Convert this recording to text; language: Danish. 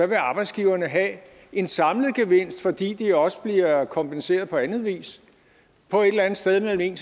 vil arbejdsgiverne have en samlet gevinst fordi de også bliver kompenseret på anden vis på et eller andet sted mellem en